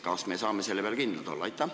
Kas me saame selle peale kindlad olla?